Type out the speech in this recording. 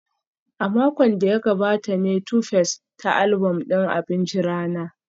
A makon da ya gabata ne Tuface ta album din abincin rana